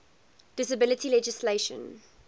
disability legislation